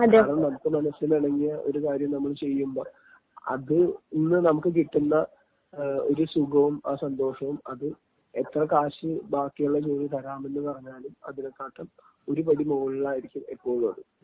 കാരണം നമുക്ക് മനസിലിനിണങ്ങിയ ഒരുകാര്യം നമ്മള് ചെയ്യുമ്പോ അതിൽ നിന്ന് നമുക്ക് കിട്ടുന്ന ഒരു സുഖവും ആ സന്തോഷവും അത് എത്ര ക്യാഷ് ബാക്കിയുള്ള ജോലി തരാമെന്ന് പറഞ്ഞാലും അതിനെക്കാട്ടിലും ഒരുപടി മോളിലായിരിക്കും എപ്പോഴുമത്.